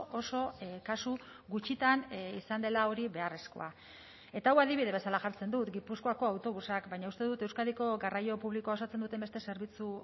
oso kasu gutxitan izan dela hori beharrezkoa eta hau adibide bezala jartzen dut gipuzkoako autobusak baina uste dut euskadiko garraio publikoa osatzen duten beste zerbitzu